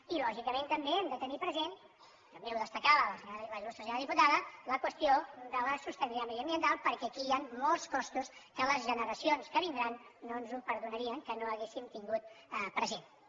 i lògicament també hem de tenir present també ho destacava la il·lustre senyora diputada la qüestió de la sostenibilitat mediambiental perquè aquí hi han molts costos que les generacions que vindran no ens perdonarien que no els haguéssim tingut presents